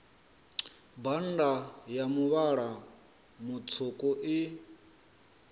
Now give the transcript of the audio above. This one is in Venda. bannda a muvhala mutswuku i